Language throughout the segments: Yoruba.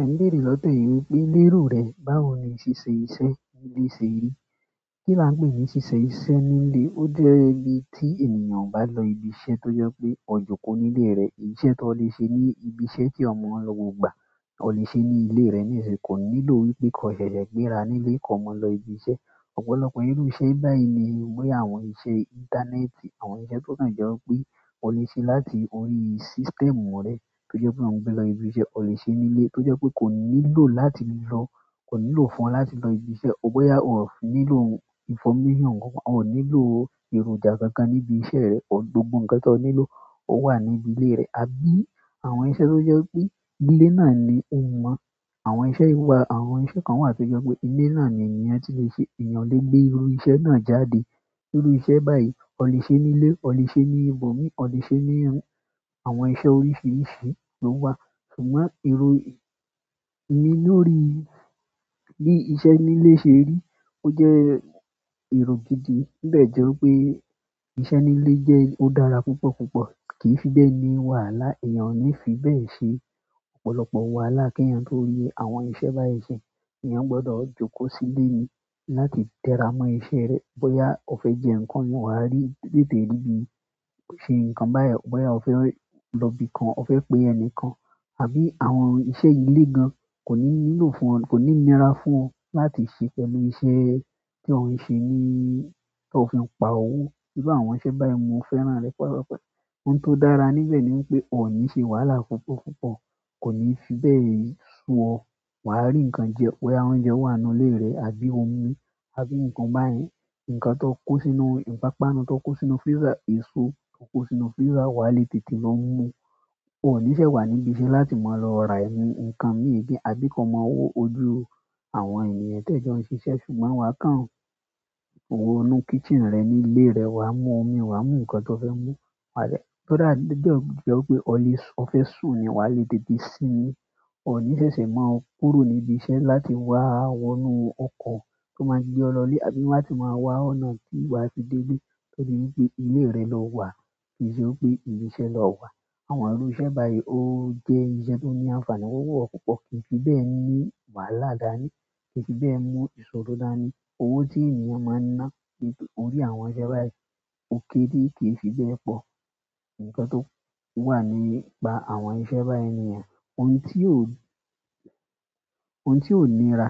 Ẹ̀n béèrè lọ́dọ̀ emi wípé, "léro rẹ, báwo ni oṣe se èyí si. Báwo lo se rí." Kí lá ń pè ní ṣíṣe iṣẹ́ ní ilé, ó jẹ́ ibi tí ènìyàn bá lọ ibi iṣẹ́ tó jẹ́ pé ọ jòkó nílé rẹ̀, iṣẹ́ tó lè ṣe ní ibi iṣẹ́ tí eyan maa n lọ ni gbogba, o lè ṣe ní ilé rẹ nísìnyí kò nílò wípé ko ṣẹ̀ṣẹ̀ gbéra nílé kí ọ maa lọ ibi iṣẹ́. Ọ̀pọ̀lọpọ̀ iru iṣẹ́ bayi nii, boya àwọn iṣẹ́ intaneti. Àwọn iṣẹ́ to kan jẹ wípé o le se láti orí systemu re. To je pe to ba fe lo si ibi iṣẹ́, o le se nile. To je pe koni lo fún o láti lo-- ko ni lo fún o láti lo ibi iṣẹ́. Bóyá o ò nílò information kan kan, o ò nílò èròjà kankan níbi iṣẹ́ rẹ, gbogbo ǹkan tí o nílò o wà níbi ilé rẹ. Àbí àwọn iṣẹ́ tó jẹ́ pé ilé náà ni o mọ̀, àwọn iṣẹ́ yìí wà, àwọn iṣẹ́ kan wà tó jẹ́ pé ilé náà ni ènìyàn ti lè ṣe, èeyàn o lè gbé irú iṣẹ́ náà jáde. Irú iṣẹ́ báyìí o lè ṣe ní ilé, o lè ṣe ní ibòmíì, o lè ṣe ní-- àwọn iṣẹ́ oríṣiríṣi ló wà. Ṣùgbọ́n erò mi lò rí bí iṣẹ́ nílé ṣe rí, ó jẹ́ èrò gidi. To de jẹ́ wípé iṣẹ́ nílé ó dára púpọ̀ púpọ̀ kìí fi bẹ́ẹ̀ ni wàhálà èèyàn ò ní fi bẹ́ẹ̀ ṣe. Ọ̀pọ̀lọpọ̀ wàhálà kí ènìyàn tó rí, àwọn iṣẹ́ báyìí ṣé, ènìyàn gbọdọ̀ jókòó sílé ni láti tẹ́ra mọ́ iṣẹ́ rẹ. Bóyá o fẹ́ jẹ nǹkan won wà á rí-- tètè ríbí ò ṣe nǹkan báyìí. Bóyá o fẹ́ lọ ibi kan, o fẹ́ pé ẹni kan àbí àwọn iṣẹ́ ilé gan kò ní nílò fún ọ, kò ní nira fún ọ láti ṣe pẹ̀lú iṣẹ́ tí o ń ṣe ní, tí o fi ń pa owó. Bíi àwọn iṣẹ́ báyìí mo fẹ́ràn rẹ̀ púpọ̀ púpọ̀. Ohun tó dára níbẹ̀ ni wípé o ò ní ṣe wàhálà púpọ̀ púpọ̀, kò ní fi bẹ́ẹ̀ sú ọ. Wà á rí ǹkan jẹ, bóyá oúnjẹ wà nínú ilé rẹ àbí omi àbí ǹkan báyìí, ǹkan tó kó sínú, ìpápánu tó kó sínú freezer, èso tó kó sínú freezer wà á le tètè lọ mú. Won ò ní ṣe wà níbi iṣẹ́ láti máa lọ ra ẹ̀mí ǹkan méje àbí kí ọmọ wó ojú àwọn ènìyàn tí ẹ jọ ń ṣiṣẹ́. Ṣùgbọ́n wà á kàn wọ́ inú kitchen rẹ nílé rẹ, wà á mú omi, wà á mú ǹkan tó fẹ́ mú, wà á dẹ-- ko da to ba jẹ́ wipé o fẹ́ sùn ni wà á le tètè sin ín. O ni sese maa kúrò ni ibi se láti waa wo inú oko to ma gbe o lo ile. Àbí láti maa wa ọ̀nà ti wa fi dele. Nítorí pe ile re lo wa kii se ibi iṣẹ́ lowa. Àwọn irú iṣẹ́ báyìí ó jẹ́ iṣẹ́ tó ní àǹfààní owu mi púpọ̀ púpọ̀ kìí fi bẹ́ẹ̀ ní wàhálà dání, kìí fi bẹ́ẹ̀ mú ìṣòro dání. Owó tí ènìyàn máa ń ná lórí àwọn iṣẹ́ báyìí ò kéré kìí fi bẹ́ẹ̀ pọ̀. Ǹkan tó wà nípa àwọn iṣẹ́ báyìí ni yen. Ohun tí ò, ohun tí ò nira,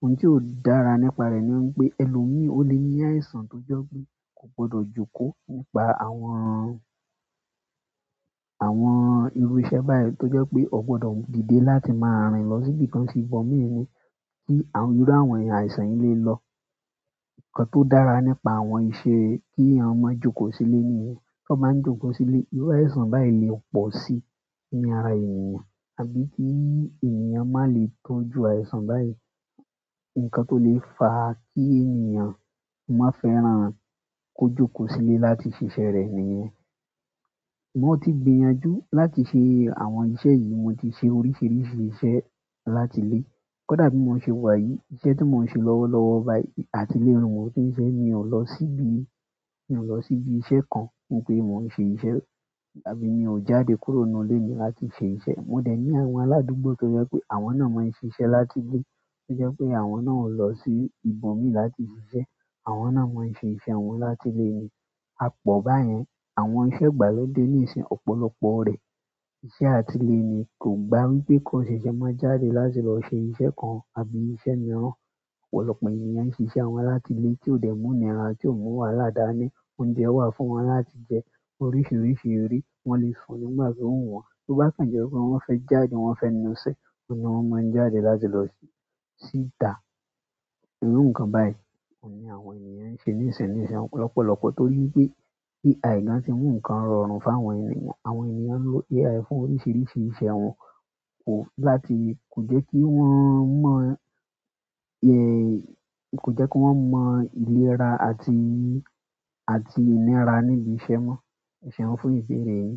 ohun tí ò dára nípa rẹ̀ ni wípé ẹlòmíì o lè ní àìsàn tó jẹ́ pé kò gbọdọ̀ jókòó nípa àwọn, àwọn irú iṣẹ́ báyìí tó jẹ́ pé o gbọdọ̀ dìde láti máa rìn lọ sí ibi kan sí ibòmíì, ni kí irú àwọn àìsàn yìí lé lọ. Nkan to dára nípa àwọn iṣẹ́ ki eyan maa n joko sile niyen. Tó bá ń jókòó sílé, irú àìsàn báyìí lè pọ̀ sí ni ara ènìyàn àbí kí ènìyàn má lè tójú àìsàn báyìí. Ǹkan tó lè fa kí ènìyàn má fẹ́ràn kó jókòó sílé láti ṣe iṣẹ́ rẹ̀ nìyẹn. Ṣùgbọ́n mo tí gbi yanjú láti ṣe àwọn iṣẹ́ yìí, mo ti ṣe oríṣiríṣi iṣẹ́ láti ilé. Kódà bí mo ṣe wà yìí, iṣẹ́ tí mo ń ṣe lọ́wọ́lọ́wọ́ báyìí àti ilé ni mo ti ń ṣe mi ò lọ síbi, mi ò lọ síbi iṣẹ́ kan wípé mo ń ṣe iṣẹ́, àbí mi ò jáde kúrò nínú ilé mi láti ṣe iṣẹ́. Mo de ni àwọn aladugbo to je pe àwọn náà maa n sise láti ile. To je pe àwọn náà o kin lo si ibomi láti sise. Àwọn náà máa ń ṣe iṣẹ́ wọn láti ilé ni. A pọ̀ báyẹn. Àwọn iṣẹ́ ìgbàlódé níìsín ọ̀pọ̀lọpọ̀ rẹ̀ iṣẹ́ àti ilé ni, kò gba wípé ko ṣẹ̀ṣẹ̀ máa jáde láti lọ ṣe iṣẹ́ kan àbí iṣẹ́ mìíràn. Ọ̀pọ̀lọpọ̀ ènìyàn ń ṣe iṣẹ́ wọn láti ilé tí ó dẹ̀ mú nira, tí ò mú wàhálà dání. Oúnjẹ wà fún wọn láti jẹ. Oríṣiríṣi eré. Wọ́n lè sun nígbà tí o wu wọ̀n. To ba si je pe won fe jáde won fe na ese, oun ni won maa n jáde láti lo síta irú nǹkan báyìí, oun ni àwọn ènìyàn ń ṣe níìsín níìsín lọ̀pọ̀lọpọ̀ tó ri wipé AI gan ti mú nǹkan rọrùn fún àwọn ènìyàn. Àwọn ènìyàn ń lo AI fún oríṣiríṣi iṣẹ́ wọn. Kò láti-- kò jẹ́ kí wọ́n mọ̀-- ẹ́, kò jẹ́ kí wọ́n mọ ìlera àti ìnira níbi iṣẹ́ mọ́. Iṣẹ́ wọn fún ìṣeré ni.